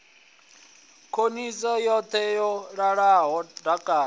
khoḽidzhi yoṱhe yo ḓala dakalo